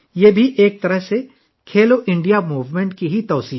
ایک طرح سے یہ کھیلو انڈیا تحریک کی توسیع بھی ہے